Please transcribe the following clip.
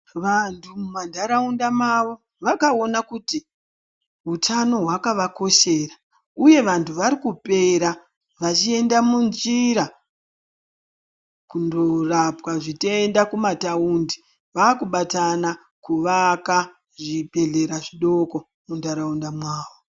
Vantu mumantaraunda mavo vakaona kuti utano hwakavakoshera uye vantu varikupera vachienda munjira kundorapwa zvitenda kumataundi. Vaakubatana kuvaka zvibhedhlera zvidoko muntaraunda mwavo.